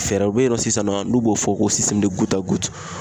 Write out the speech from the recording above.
Fɛɛrɛw be ye nɔ sisan nɔ, n'u b'o fɔ ko